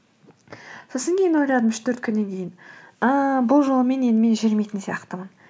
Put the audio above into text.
сосын кейін ойлайдым үш төрт күннен кейін ыыы бұл жолмен енді мен жүрмейтін сияқтымын